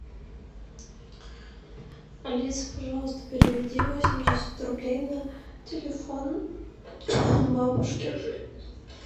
алиса пожалуйста переведи восемьдесят рублей на телефон бабушке